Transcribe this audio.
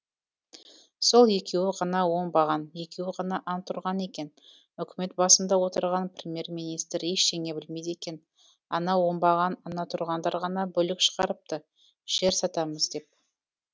сол екеуі ғана оңбаған екеуі ғана антұрған екен үкімет басында отырған премьер министр ештеңе білмейді екен ана оңбаған антұрғандар ғана бүлік шығарыпты жер сатамыз деп